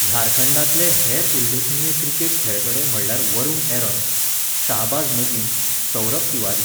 झारखंडांतले हेर उल्लेखनीय क्रिकेट खेळगडे म्हळ्यार वरुण एरोन, शाहबाज नदीम, सौरभ तिवारी.